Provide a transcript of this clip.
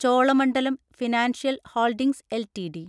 Cholamandalam financial holdings LTD